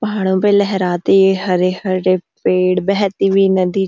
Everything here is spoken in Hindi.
पहाड़ों पे लहराते हरे हरे पेड़ बहती हुई नदी --